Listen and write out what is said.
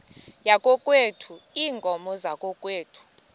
yakokwethu iinkomo zakokwethu